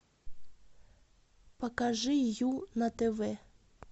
покажи ю на тв